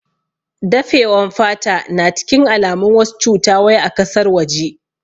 Dafe wan fata na cikin alamun wasu cuta wai a kasar waje